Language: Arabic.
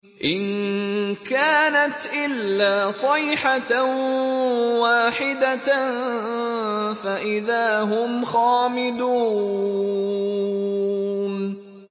إِن كَانَتْ إِلَّا صَيْحَةً وَاحِدَةً فَإِذَا هُمْ خَامِدُونَ